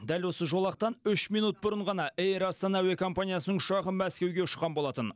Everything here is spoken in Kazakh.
дәл осы жолақтан үш минут бұрын ғана эйр астана әуе компаниясының ұшағы мәскеуге ұшқан болатын